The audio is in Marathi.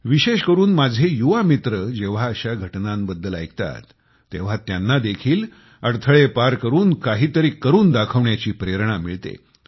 विशेषकरून माझे युवा मित्र जेंव्हा अश्या घटनांबद्दल ऐकतात तेंव्हा त्यांना देखील अडथळे पार करून काहीतरी करून दाखविण्याची प्रेरणा मिळते